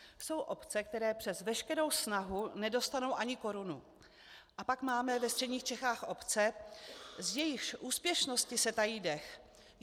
Jsou obce, které přes veškerou snahu nedostanou ani korunu, a pak máme ve středních Čechách obce, z jejichž úspěšnosti se tají dech.